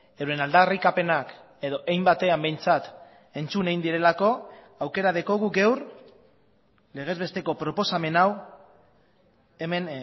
euren aldarrikapenak edo hein batean behintzat entzun egin direlako aukera daukagu gaur legezbesteko proposamen hau hemen